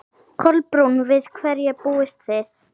Kolbrún, við hverju búist þið?